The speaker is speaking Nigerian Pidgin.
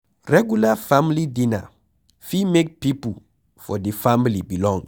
Regular family dinner fit make pipo for di family belong